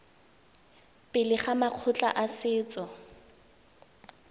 pele ga makgotla a setso